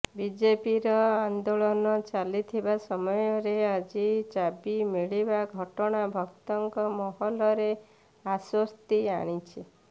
ବିଜେପିର ଆନେ୍ଦାଳନ ଚାଲିଥିବା ସମୟରେ ଆଜି ଚାବି ମିଳିବା ଘଟଣା ଭକ୍ତଙ୍କ ମହଲରେ ଆଶ୍ୱସ୍ତି ଆଣିଛି